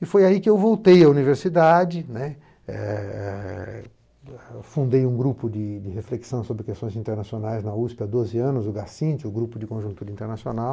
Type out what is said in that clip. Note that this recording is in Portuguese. E foi aí que eu voltei à universidade, né, e fundei um grupo de reflexão sobre questões internacionais na usêpê há doze anos, o Gassint, o grupo de conjuntura internacional,